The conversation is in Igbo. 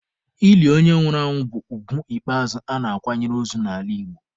Ili onye nwụrụ anwụ bụ ugwu ikpeazụ a na-akwanyere ozu n'ala Igbo.